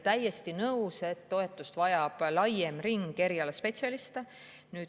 Täiesti nõus, et toetust vajab laiem ring erialaspetsialiste.